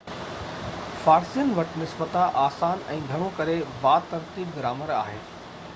فارسين وٽ نسبتاً آسان ۽ گهڻو ڪري با ترتيب گرامر آهي